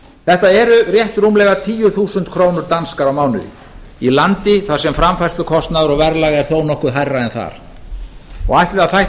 þetta eru rétt rúmlega tíu þúsund krónur danskar á mánuði í landi þar sem framfærslukostnaður og verðlag er þó nokkru hærra en þar ætli það þætti